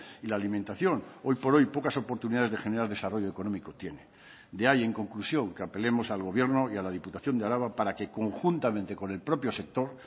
y la alimentación hoy por hoy pocas oportunidades de generar desarrollo económico tiene de ahí en conclusión que apelemos al gobierno y a la diputación de araba para que conjuntamente con el propio sector